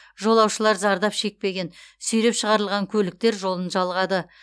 жолаушылар зардап шекпеген сүйреп шығарылған көліктер жолын жалғады